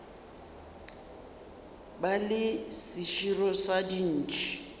ba le seširo sa dintšhi